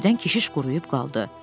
Birdən keşiş quruyub qaldı.